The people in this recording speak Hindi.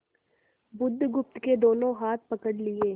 बुधगुप्त के दोनों हाथ पकड़ लिए